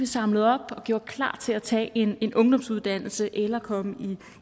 samlet op og gjort klar til at tage en en ungdomsuddannelse eller komme